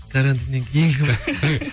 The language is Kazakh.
карантиннен кейінгі ма